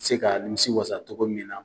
Se ka nimisi wasa cɔgɔ min na.